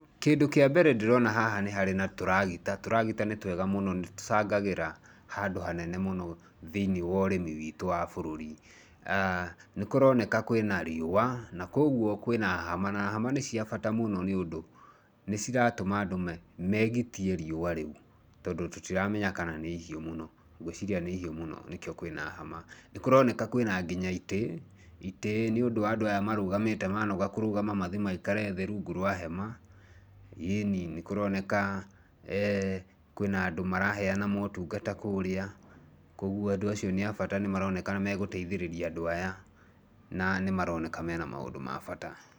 Kĩndũ kĩa mbere ndĩrona haha nĩ harĩ na tũragita, turagita nĩ twega mũno nĩ tũcangagĩra handũ hanene mũno thĩiniĩ wa ũrimi witũ wa bũrũri. Nĩ kũroneka kwĩna riũa, na kogwo kwina hama na hama nĩ cia bata mũno nĩ ũndũ nĩ ciratũma andũ megitie riũa rĩu tondũ tũtiramenya kana nĩ ihiũ mũno. Ngwiciria nĩ ihiũ mũno nĩkĩo kwĩna hama. Nĩ kũroneka kwĩna nginya itĩ, itĩ nĩũndũ wa aya marũgamĩte manoga kũrũgama mathi maikare thĩ rungu rwa hema. Ĩĩni nĩ kũroneka kwĩna andũ maraheana motungata kũrĩa, koguo andũ acio nĩ abata nĩ maroneka nĩ megũteithĩrĩria andũ aya, na nĩ maroneka mena maũndũ ma bata.